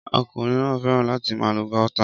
Ọkùnrin náà fẹ́ràn láti máa lo Gauta